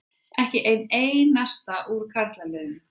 Ekki einn einasta úr karlaliðinu.